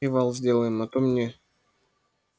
привал сделаем а то мне